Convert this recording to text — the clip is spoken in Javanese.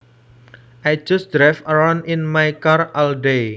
I just drive around in my car all day